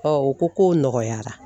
u ko k'o nɔgɔyara